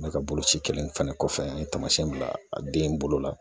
Ne ka boloci kɛlen fana kɔfɛ an ye taamasiyɛn bila a den bolo la